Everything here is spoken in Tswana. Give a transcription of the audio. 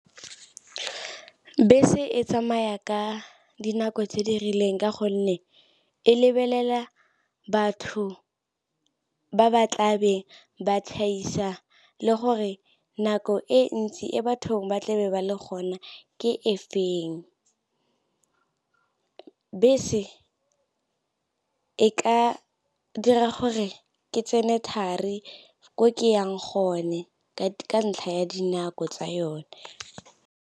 Bese e tsamaya ka dinako tse di rileng ka gonne e lebelela batho ba ba tlabe ba le gore nako e ntsi e bathong ba tlabe ba le gona ke e feng, bese e ka dira gore ke tsene thari ko ke yang gone ke ka ntlha ya dinako tsa yone.